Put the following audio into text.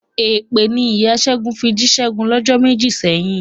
Èpè ni ìya Ṣẹ́gun fi jí Ṣẹ́gun lọ́jọ́ méjì sẹ́yìn.